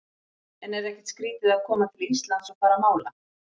En er ekkert skrítið að koma til Íslands og fara að mála?